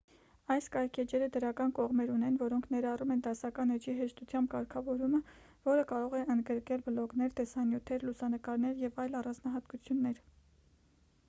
այս կայքէջերը դրական կողմեր ունեն որոնք ներառում են դասական էջի հեշտությամբ կարգավորումը որը կարող է ընդգրկել բլոգներ տեսանյութեր լուսանկարներ և այլ առանձնահատկություններ